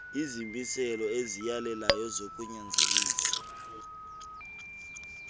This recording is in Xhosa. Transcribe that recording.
izimiselo eziyalelayo zokunyanzelisa